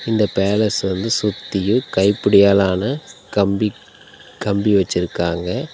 இந்த பேலஸ்ஸ வந்து சுத்தியு கைப்பிடியாலான கம்பி கம்பி வச்சுருக்காங்க.